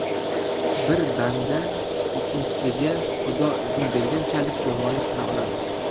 Bir banda ikkinchisiga Xudo izn berganchalik yomonlik qila oladi.